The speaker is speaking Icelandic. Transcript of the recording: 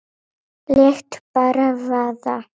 Lét bara vaða.